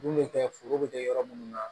Mun bɛ kɛ foro be kɛ yɔrɔ munnu na